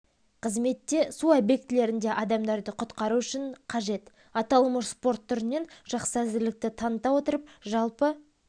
қызметте су объектілерінде адамдарды құтқару үшін қажет аталмыш спорт түрінен жақсы әзірлікті таныта отырып жалпы